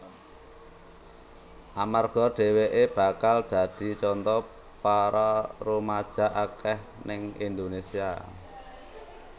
Amarga dheweké bakal dadi contoh para rumaja akeh ning Indonésia